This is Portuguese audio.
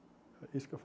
É isso que eu